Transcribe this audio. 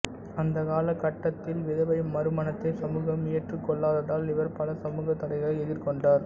அந்த கால கட்டத்தில் விதவை மறுமணத்தை சமூகம் ஏற்றுக்கொள்ளாததால் இவர் பல சமூகத் தடைகளை எதிர்கொண்டார்